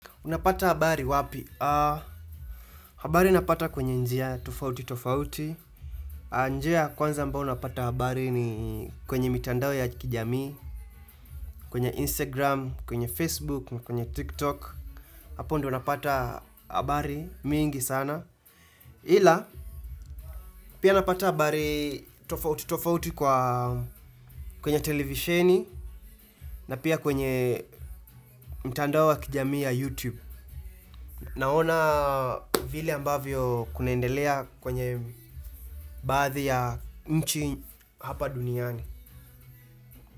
Unapata habari wapi? Habari napata kwenye njia tofauti tofauti. Njia kwanza ambayo napata habari ni kwenye mitandao ya kijamii, kwenye Instagram, kwenye Facebook, na kwenye TikTok. Hapo ndio napata habari mingi sana. Ila, pia napata habari tofauti tofauti kwenye televisheni, na pia kwenye mtandao wa kijamii ya YouTube. Naona vile ambavyo kunaendelea kwenye baadhi ya nchi hapa duniani.